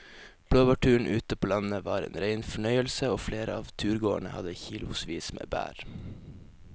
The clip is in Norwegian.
Blåbærturen ute på landet var en rein fornøyelse og flere av turgåerene hadde kilosvis med bær.